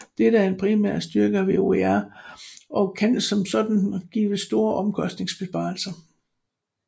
Dette er en primær styrke ved OER og kan som sådan give store omkostningsbesparelser